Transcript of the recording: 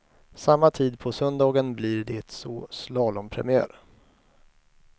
Samma tid på söndagen blir det så slalompremiär.